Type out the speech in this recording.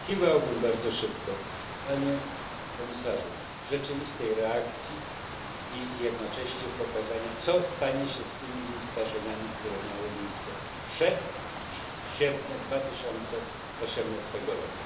Oczekiwałbym bardzo szybko, Panie Komisarzu, rzeczywistej reakcji i jednocześnie pokazania, co stanie się z tymi zdarzeniami, które miały miejsce przed 1 sierpnia 2018 r.